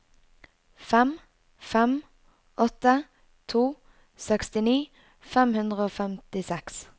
fem fem åtte to sekstini fem hundre og femtiseks